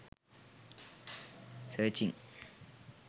searching